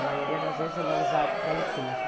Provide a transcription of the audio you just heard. A maioria das vezes ele é usado para enterro.